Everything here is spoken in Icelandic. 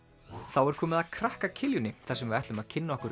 þá er komið að krakka þar sem við ætlum að kynna okkur